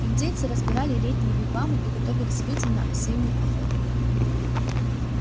индейцы разбирали летние вигвамы и готовились выйти на осеннюю охоту